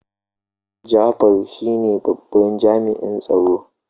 Jafar shine babban jami'in tsaro.